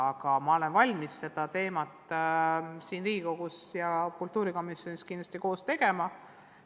Aga ma olen valmis seda teemat siin Riigikogus ja kitsamalt kultuurikomisjonis kindlasti arutama.